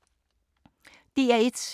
DR1